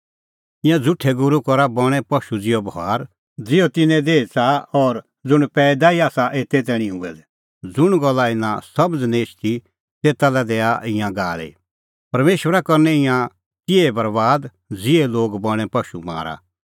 ईंयां झ़ुठै गूरू करा बणें पशू ज़िहअ बभार ज़ुंण तिहअ करा ज़िहअ तिन्नें देही च़ाहा और ज़ुंण पैईदा ई आसा एते तैणीं हुऐ दै कि तिंयां लोगा ढाके और मारी पाए ज़ुंण गल्ला इना समझ़ निं एछदी तेता लै दैआ ईंयां गाल़ी परमेशरा करनै ईंयां तिहै बरैबाद ज़िहै लोग बणें पशू मारा